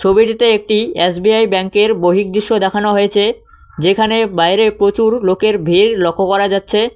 ছবিটিতে একটি এস_বি_আই ব্যাংকের বহিঃদৃশ্য দেখানো হয়েছে যেখানে বাইরে প্রচুর লোকের ভিড় লক্ষ্য করা যাচ্ছে।